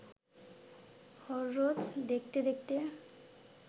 হররোজ দেখতে দেখতে